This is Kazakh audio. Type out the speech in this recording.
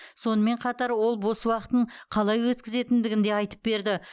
сонымен қатар ол бос уақытын қалай өткізетіндігін де айтып берді